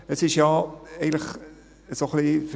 Es ist ja eigentlich so ein wenig …